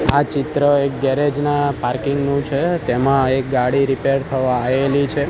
આ ચિત્ર એક ગેરેજ ના પાર્કિંગ નુ છે તેમા એક ગાડી રીપેર થવા આયેલી છે.